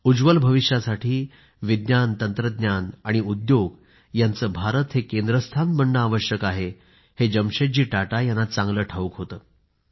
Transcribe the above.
उज्ज्वल भविष्यासाठी विज्ञान तंत्रज्ञान आणि उद्योग यांचे भारत हे केंद्रस्थान बनणं आवश्यक आहे हे जमशेदजी टाटा यांना चांगलं ठाऊक होतं